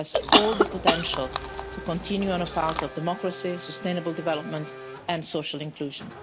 It has all the potential to continue on a path of democracy, sustainable development and social inclusion.